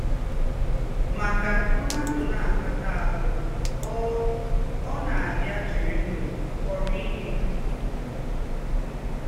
Mà kà m̀ádụ́ ná-àkatà áhụ̀, ọ́ ọ́ ná-àbíà jìrì ndụ́ kọ̀rọ̀ íhe.